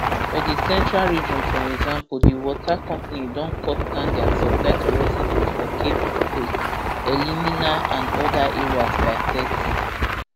for di central region for example di water company don cut down dia supply to residents for cape coast elimina and oda areas by thirty